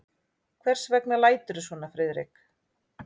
Hvers vegna læturðu svona, Friðrik?